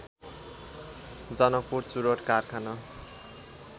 जनकपुर चुरोट कारखाना